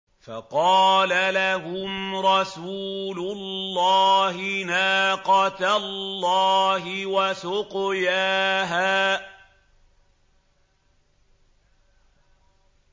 فَقَالَ لَهُمْ رَسُولُ اللَّهِ نَاقَةَ اللَّهِ وَسُقْيَاهَا